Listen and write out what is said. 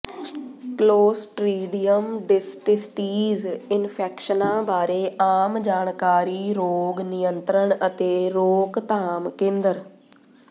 clostridium ਡਿਸਟਿਸਟੀਜ਼ ਇਨਫੈਕਸ਼ਨਾਂ ਬਾਰੇ ਆਮ ਜਾਣਕਾਰੀ ਰੋਗ ਨਿਯੰਤ੍ਰਣ ਅਤੇ ਰੋਕਥਾਮ ਕੇਂਦਰ